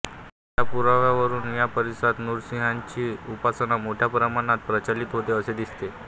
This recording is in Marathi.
या पुराव्यावरून या परिसरात नृसिंहाची उपासना मोठ्या प्रमाणात प्रचलित होती असे दिसते